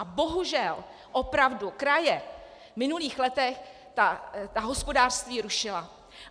A bohužel opravdu kraje v minulých letech ta hospodářství rušily.